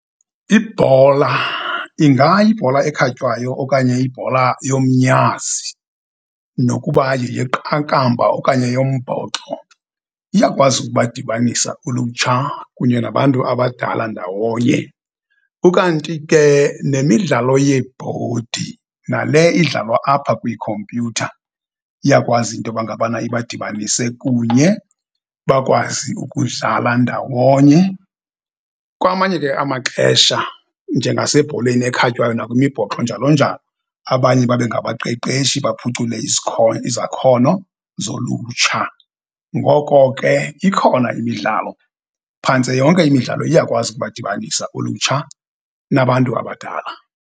Ibhola ingayibhola ekhatywayo okanye ibhola yomnyazi nokuba yeyeqakamba okanye yombhoxo, iyakwazi ukubadibanisa ulutsha kunye nabantu abadala ndawonye. Ukanti ke nemidlalo yeebhodi nale idlalwa apha kwiikhompyutha iyakwazi into yoba ngabana ibadibanise kunye bakwazi ukudlala ndawonye. Kwamanye ke amaxesha njengasebholeni ekhatywayo nakwimibhoxo njalo njalo, abanye babe ngabaqeqeshi baphucule izakhono zolutsha. Ngoko ke, ikhona imidlalo, phantse yonke imidlalo iyakwazi ukubadibanisa ulutsha nabantu abadala.